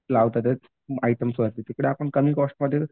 लावतायेत आयटमवरती तिकडे आपण कमी कॉस्टमध्ये